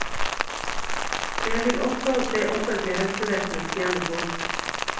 Det vil også det offentlige helsevesenet tjene på.